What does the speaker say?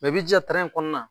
i b'i jiya tɛrɛn in kɔɔna